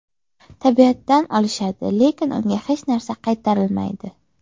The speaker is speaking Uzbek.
Tabiatdan olishadi, lekin unga hech narsa qaytarishmaydi.